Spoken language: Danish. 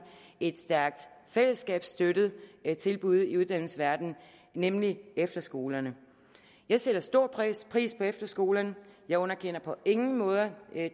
et stærkt fællesskabsstøttet tilbud i uddannelsesverdenen nemlig efterskolerne jeg sætter stor pris pris på efterskolerne jeg underkender på ingen måde